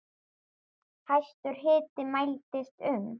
Hæstur hiti mældist um